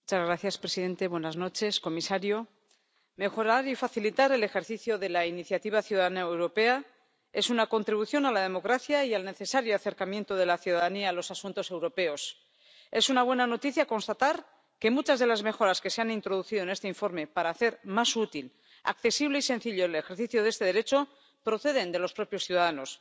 Señor presidente, señor comisario, mejorar y facilitar el ejercicio de la iniciativa ciudadana europea es una contribución a la democracia y al necesario acercamiento de la ciudadanía a los asuntos europeos. Es una buena noticia constatar que muchas de las mejoras que se han introducido en este informe para hacer más útil, accesible y sencillo el ejercicio de este derecho proceden de los propios ciudadanos.